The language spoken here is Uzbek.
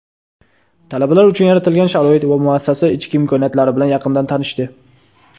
talabalar uchun yaratilgan sharoit va muassasa ichki imkoniyatlari bilan yaqindan tanishdi.